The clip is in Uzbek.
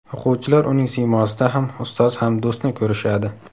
O‘quvchilar uning siymosida ham ustoz ham do‘stni ko‘rishadi.